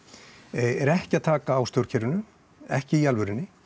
er ekki að taka á stjórnkerfinu ekki í alvörunni